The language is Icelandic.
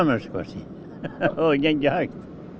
gengi hægt